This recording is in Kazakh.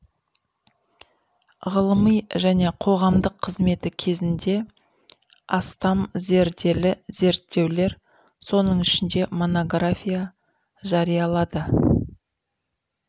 ғылыми және қоғамдық қызметі кезінде астам зерделі зерттеулер соның ішінде монография жариялады